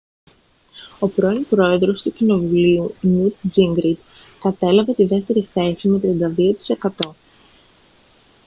ο πρώην πρόεδρος του κοινοβουλίου νιουτ τζίνγκριτ κατέλαβε τη δεύτερη θέση με 32 τοις εκατό